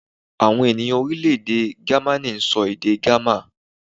Àwọn ènìyàn Orílèdè Gamaní n sọ èdè gámà